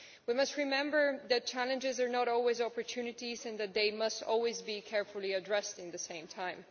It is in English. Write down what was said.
We must remember that challenges are not always opportunities and that they must always be carefully addressed at the same time.